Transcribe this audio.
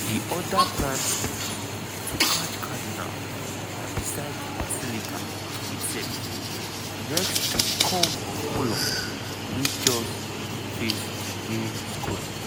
di oda prime spot to catch cardinal na beside di basilica itself next to di curve of columns wey face di main square.